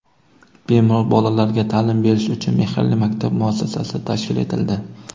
Bemor bolalarga ta’lim berish uchun "Mehrli maktab" muassasasi tashkil etildi.